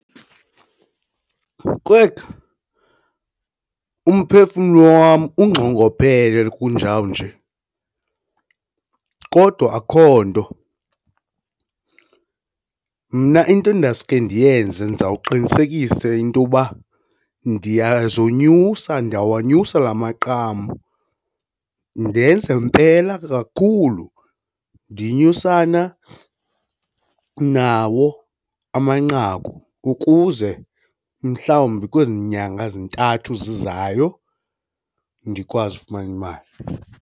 Kwekhu, umphefumlo wam ungxongophele kunjawunje, kodwa akukho nto. Mna into ndawusuke ndiyenze ndizawuqinisekisa intoba ndiyazonyusa ndiyawanyuswa la maqam ndenze mpela kakhulu, ndinyusana nawo amanqaku ukuze mhlawumbi kwezi nyanga zintathu zizayo ndikwazi ukufumana imali.